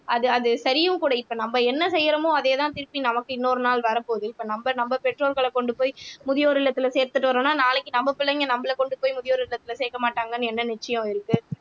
அது அது சரியும் கூட இப்ப நம்ம என்ன செய்யறோமோ அதேதான் திருப்பி நமக்கு இன்னொரு நாள் வரப்போகுது இப்ப நம்ம நம்ம பெற்றோர்களைக் கொண்டு போய் முதியோர் இல்லத்தில சேர்த்துட்டு வரணும்ன்னா நாளைக்கு நம்ம பிள்ளைங்க நம்மளை கொண்டு போய் முதியோர் இல்லத்தில சேர்க்க மாட்டாங்கன்னு என்ன நிச்சயம் இருக்கு